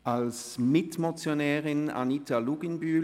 Als Mitmotionärin spricht Anita Luginbühl.